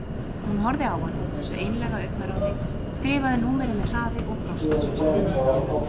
Hún horfði á hann, þessu einlæga augnaráði, skrifaði númerið með hraði og brosti svo stríðnislega.